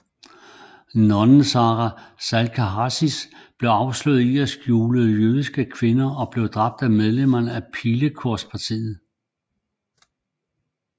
Nonnen Sára Salkaházi blev afsløret i at skjule jødiske kvinder og blev dræbt af medlemmer af Pilekorspartiet